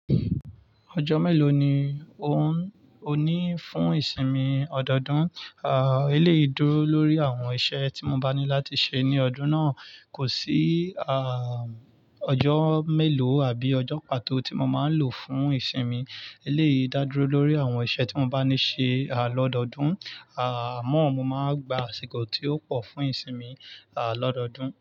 Ọjọ́ mélòó ni ò ń ní fún ìsinmi ọdọọdún? À, ẹ lèyi dúró lórí àwọn iṣẹ́ tí mo bá ní láti ṣe ní ọdún náà. Kò sí à, ọjọ́ mélòó àbí ọjọ́ pàtó tí mo máa ń lò fún ìsinmi. E léyi dá dúró lórí àwọn iṣẹ́ tí mo bá ní ṣe à lọ́dọọdún. À, àmọ́ mo máa gba àsìkò tí ó pọ̀ fún ìsinmi à lọ́dọọdún.